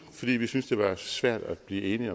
fordi vi synes det var svært at blive enige